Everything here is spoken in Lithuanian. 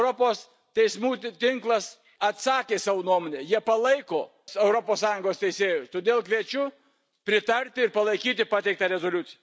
Europos teismų būti tinklas pateikė savo nuomonę, jie palaiko Europos Sąjungos teisėjus, todėl kviečiu pritarti ir palaikyti pateiktą rezoliuciją.